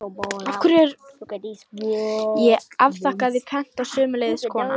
Ég afþakkaði pent og sömuleiðis konan.